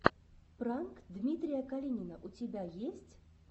пранк дмитрия калинина у тебя есть